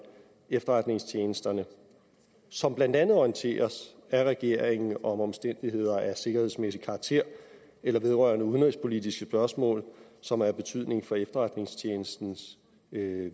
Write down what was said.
efterretningstjenesterne som blandt andet orienteres af regeringen om omstændigheder af sikkerhedsmæssig karakter eller vedrørende udenrigspolitiske spørgsmål som er af betydning for efterretningstjenesternes